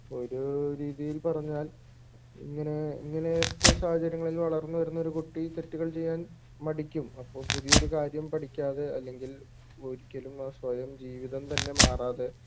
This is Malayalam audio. ഒരു രീതിയിൽ പറഞ്ഞാൽ ഇങ്ങനെ ഇങ്ങനത്തെ സാഹചര്യങ്ങളിൽ വളർന്നുവരുന്ന ഒരു കുട്ടി തെറ്റുകൾ ചെയ്യാൻ മടിക്കും അപ്പൊ പുതിയൊരു കാര്യം പഠിക്കാതെ അല്ലെങ്കിൽ ഒരിക്കലും ആ സ്വയം ജീവിതം തന്നെ മാറാതെ